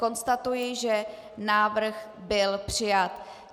Konstatuji, že návrh byl přijat.